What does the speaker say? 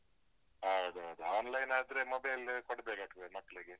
ಹೌದೌದು. online ಆದ್ರೆ mobile ಕೊಡ್ಬೇಕಾಗ್ತದೆ ಮಕ್ಳಿಗೆ.